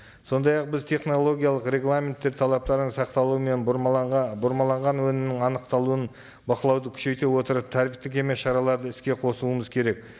сондай ақ біз технологиялық регламенттер талаптарын сақтаулы мен бұрмаланған өнімнің анықталуын бақылауды күшейте отырып тәртіптік емес шараларды іске қосуымыз керек